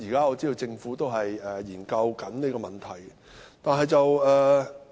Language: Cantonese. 我知道政府正在研究這問題。